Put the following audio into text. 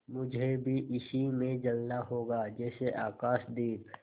मुझे भी इसी में जलना होगा जैसे आकाशदीप